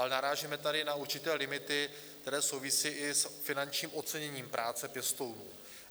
Ale narážíme tady na určité limity, které souvisí i s finančním oceněním práce pěstounů.